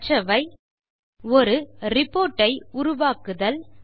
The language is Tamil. கற்றவை ஒரு ரிப்போர்ட் ஐ உருவாக்குதல்